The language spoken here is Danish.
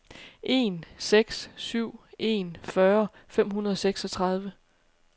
en seks syv en fyrre fem hundrede og seksogtredive